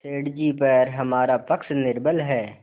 सेठ जीपर हमारा पक्ष निर्बल है